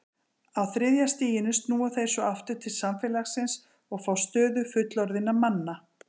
Á þriðja stiginu snúa þeir svo aftur til samfélagsins og fá stöðu fullorðinna manna.